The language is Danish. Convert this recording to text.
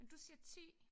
Men du siger 10?